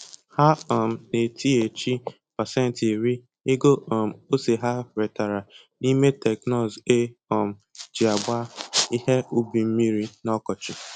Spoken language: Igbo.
Ha um na-etinyechi pasentị iri ego um ose ha retara n'ime teknụzụ e um ji agba ihe ubi mmiri n'ọkọchị